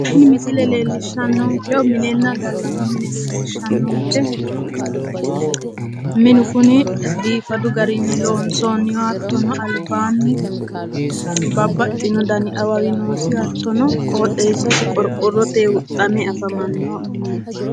tini misile leellishannonkehu minenna gallanni mine leellishshanonke minu kuni biifadu garinni loonsoonni hattono albaanni babbaxino dani awawi noosi hattono qooxeessasi qorqorotenni huxxame afamanno mineeti.